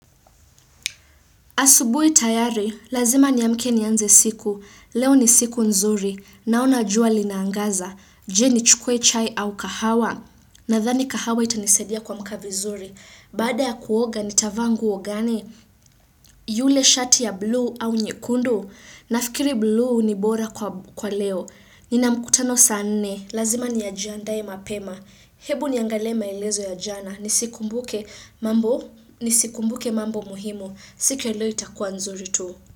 Asubuhi tayari, lazima ni amke ni anze siku, leo ni siku nzuri, naona jua linaangaza, je ni chukue chai au kahawa, nadhani kahawa itanisaidia kuamka vizuri, baada ya kuoga nitavaa nguo gani, yule shati ya bluu au nyekundu, nafikiri bluu ni bora kwa leo, nina mkutano saa nne, lazima nijiandae mapema, hebu niangale maelezo ya jana, nisikumbuke mambo, nisikumbuke mambo muhimu, siku ya leo itakua nzuri tu.